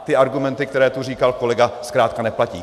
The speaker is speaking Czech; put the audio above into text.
A ty argumenty, které tu říkal kolega, zkrátka neplatí.